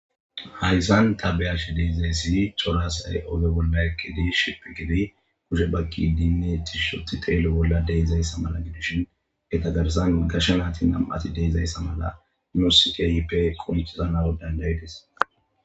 Hayssan ta be'ashe deiizayssi cora asay ogge bolla eqqidi shiphphi giidi kushshe baqqidinne tishshi oothidi xello bolla deizayssa gidishin eeta garrasan gashshe nayti nami deizayssa qonccises.